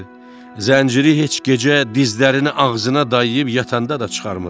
Zənciri heç gecə dizlərini ağzına dayayıb yatanda da çıxarmırdı.